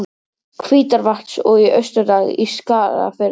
Hvítárvatns og í Austurdal í Skagafirði.